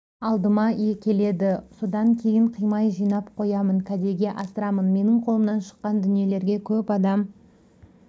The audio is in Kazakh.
алдыма келеді содан кейін қимай жинап қоямын кәдеге асырамын менің қолымнан шыққан дүниелерге көп адам